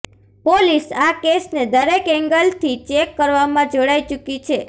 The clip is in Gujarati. પોલીસ આ કેસને દરેક એંગલથી ચેક કરવામાં જોડાઈ ચુકી છે